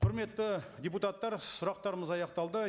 құрметті депутаттар сұрақтарымыз аяқталды